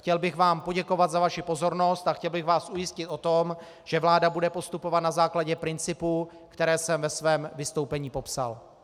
Chtěl bych vám poděkovat za vaši pozornost a chtěl bych vás ujistit o tom, že vláda bude postupovat na základě principů, které jsem ve svém vystoupení popsal.